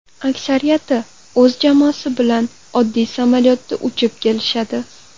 Aksariyati o‘z jamoasi bilan oddiy samolyotda uchib kelishadi.